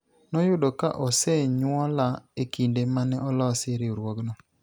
ne oyudo ka osenyuola ekinde mane olosi riwruogno